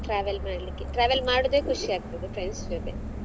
Travel ಮಾಡ್ಲಿಕ್ಕೆ travel ಮಾಡುದೇ ಖುಷಿ ಆಗ್ತದೆ friends ಜೊತೆ.